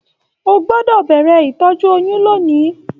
O gbọdọ bẹrẹ ìtọjú oyún lóni!